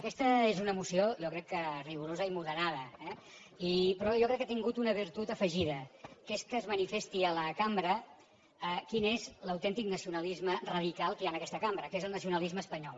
aquesta és una moció jo crec que rigorosa i moderada eh però jo crec que ha tingut una virtut afegida que és que es manifesti a la cambra quin és l’autèntic nacionalisme radical que hi ha en aquesta cambra que és el nacionalisme espanyol